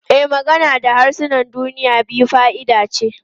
E, magana da harsunan duniya biyu fa'ida ce.